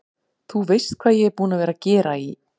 Þú veist hvað ég er búinn að vera að gera í.